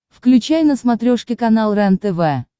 включай на смотрешке канал рентв